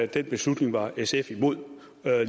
den beslutning var sf imod